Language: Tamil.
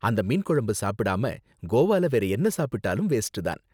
அந்த மீன் குழம்பு சாப்பிடாம கோவால வேற என்ன சாப்பிட்டாலும் வேஸ்ட் தான்.